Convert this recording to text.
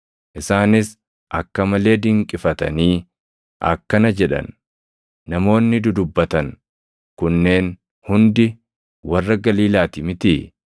Isaanis akka malee dinqifatanii akkana jedhan; “Namoonni dudubbatan kunneen hundi warra Galiilaati mitii?